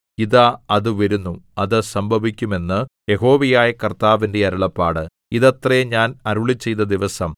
ഇതാ അത് വരുന്നു അത് സംഭവിക്കും എന്ന് യഹോവയായ കർത്താവിന്റെ അരുളപ്പാട് ഇതത്രേ ഞാൻ അരുളിച്ചെയ്ത ദിവസം